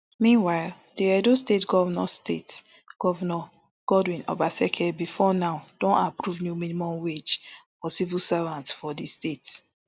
meanwhile di edo state govnor state govnor godwin obaseki bifor now don approve new minimum wage for civil servants for di state